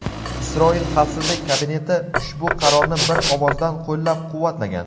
Isroil xavfsizlik kabineti ushbu qarorni bir ovozdan qo‘llab-quvvatlagan.